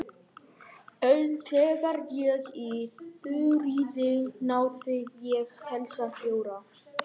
En þegar ég í Þuríði næ þigg ég pelsa fjóra.